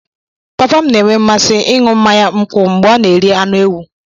Papa m na-enwe mmasị ịṅụ mmanya nkwụ mgbe ọ na-eri anụ ewu.